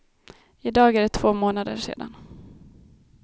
I dag är det två månader sedan.